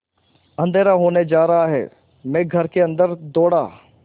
अँधेरा होने जा रहा है मैं घर के अन्दर दौड़ा